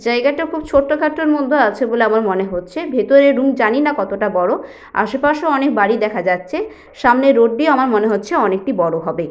জায়গাটা খুব ছোট্ট খাট্টর মধ্যে আছে বলে আমার মনে হচ্ছে ভেতরের রুম জানিনা কতটা বড় আশেপাশে অনেক বাড়ি দেখা যাচ্ছে সামনের রোড দিয়ে আমার মনে হচ্ছে অনেকটি বড় হবে।